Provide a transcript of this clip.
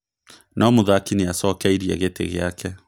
No mũthaki nĩacokeirie gĩtĩ gĩake